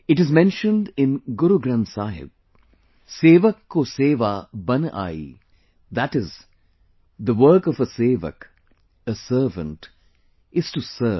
It is mentioned in Guru Granth Sahib "sevak ko seva bun aayee", that is the work of a sevak, a servant is to serve